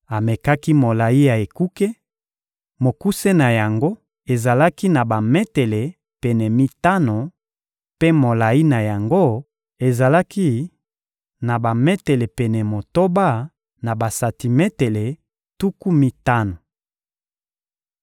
Amekaki molayi ya ekuke: mokuse na yango ezalaki na bametele pene mitano, mpe molayi na yango ezalaki na bametele pene motoba na basantimetele tuku mitano.